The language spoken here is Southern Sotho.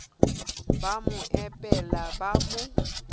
ba mo epela ba mo